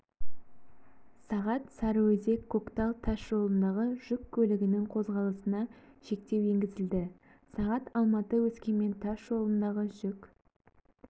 сағат сарыөзек көктал тас жолындағы жүк көлігінің қозғалысына шектеу енгізілді сағат алматы өскемен тас жолындағы жүк